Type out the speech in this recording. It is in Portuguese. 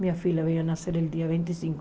Minha filha veio nascer no dia vinte e cinco.